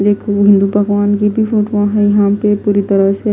देखो हिंदू भगवान की भी फोटो हैयहाँ पे पूरी तरह से--